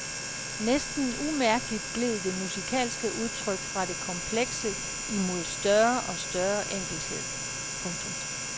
Næsten umærkeligt gled det musikalske udtryk fra det komplekse imod større og større enkelthed. punktum